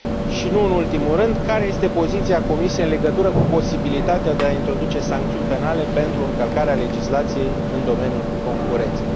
Și nu în ultimul rând, care este poziția Comisiei în legătură cu posibilitatea de a introduce sancțiuni penale pentru încălcarea legislației în domeniul concurenței?